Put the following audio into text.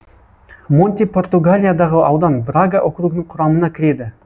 монти португалиядағы аудан брага округінің құрамына кіреді